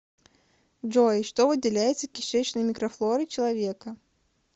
джой что выделяется кишечной микрофлорой человека